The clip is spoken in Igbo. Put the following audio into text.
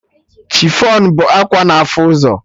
Chifọn bụ akwa na afụ ụzọ